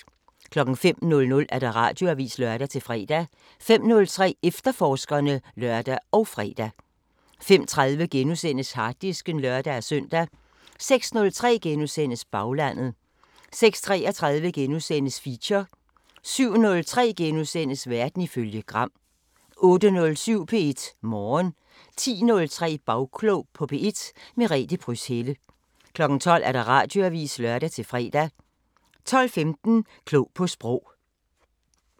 05:00: Radioavisen (lør-fre) 05:03: Efterforskerne (lør og fre) 05:30: Harddisken *(lør-søn) 06:03: Baglandet * 06:33: Feature * 07:03: Verden ifølge Gram * 08:07: P1 Morgen 10:03: Bagklog på P1: Merete Pryds Helle 12:00: Radioavisen (lør-fre) 12:15: Klog på Sprog